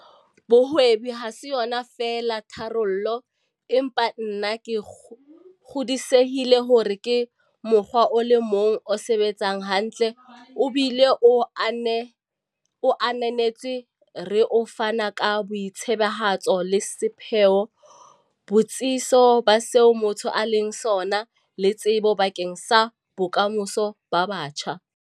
Bohwebi ha se yona feela tharollo, empa nna ke kgodisehile hore ke mokgwa o le mong o sebetsang hantle obile o ananetswe re o fana ka boitsebahatso le sepheo, botsitso ba seo motho a leng sona, le tshepo bakeng sa bokamoso ba batjha.